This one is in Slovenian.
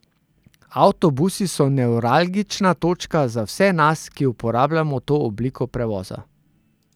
Avtobusi so nevralgična točka za vse nas, ki uporabljamo to obliko prevoza.